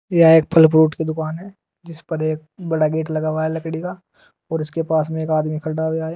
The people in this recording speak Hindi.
यह एक फल फ्रूट की दुकान है जिस पर एक बड़ा गेट लगा हुआ लकड़ी का और इसके पास में एक आदमी खड़ा हुया है।